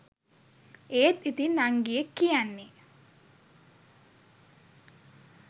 ඒත් ඉතින් නංගියෙක් කියන්නේ